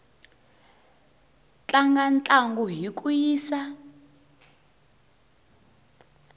tlanga ntlangu hi ku yisa